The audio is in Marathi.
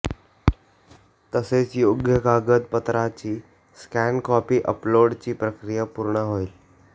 तसेच योग्य कागदपत्राची स्कॅन कॉपी अपलोडची प्रक्रिया पूर्ण होईल